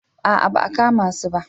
A'a ba a kama su ba